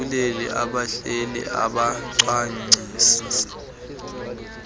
abaguquleli abahleli abacwangcisi